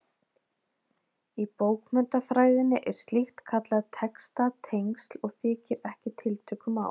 Í bókmenntafræðinni er slíkt kallað textatengsl og þykir ekki tiltökumál.